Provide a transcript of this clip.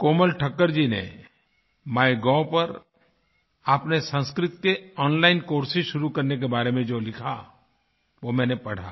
कोमल ठक्कर जी ने MyGovपर आपने संस्कृत के ओनलाइन कोर्सेस शुरू करने के बारे में जो लिखा वो मैंने पढ़ा